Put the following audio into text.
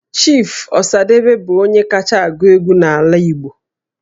Chief Osadebe bụ onye kacha agụ egwu n'ala Igbo